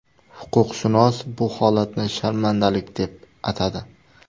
Huquqshunos bu holatni sharmandalik deb atadi.